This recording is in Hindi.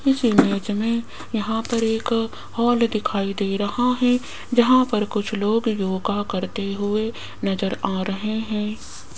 इस इमेज मे यहां पर एक हाल दिखाई दे रहा है जहां पर कुछ लोग योगा करते हुए नजर आ रहे हैं।